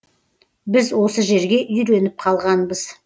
біз осы жерге үйреніп қалғанбыз